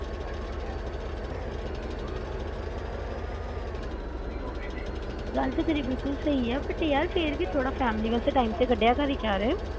ਗੱਲ ਤਾ ਤੇਰੀ ਬਿਲਕੁਲ ਸਹੀ ਆ but ਫਿਰ ਵੀ family ਵਾਸਤੇ ਥੋੜਾ time ਤਾ ਕਢਿਆ ਕਰ ਯਾਰ